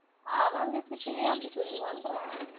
அவங்ககிட்டயே, அப்படி சொல்லுவான்றேன்